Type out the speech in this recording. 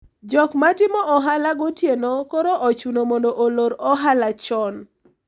jok matimo ohala gotieno koro ochuno mondo olor ohala chon